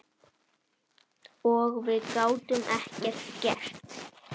Og við gátum ekkert gert.